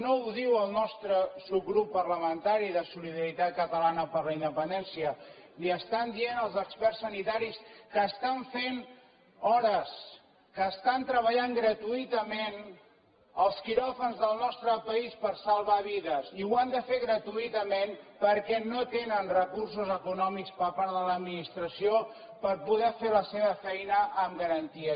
no ho diu el nostre subgrup parlamentari de solidaritat catalana per la independència li ho estan dient els experts sanitaris que estan fent hores que estan treballant gratuïtament als quiròfans del nostre país per salvar vides i ho han de fer gratuïtament perquè no tenen recursos econòmics per part de l’administració per poder fer la seva feina amb garanties